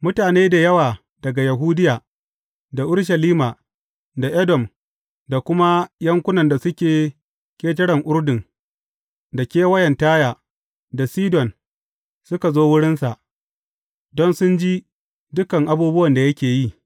Mutane da yawa daga Yahudiya, da Urushalima, da Edom, da kuma yankunan da suke ƙetaren Urdun, da kewayen Taya, da Sidon suka zo wurinsa, don sun ji dukan abubuwan da yake yi.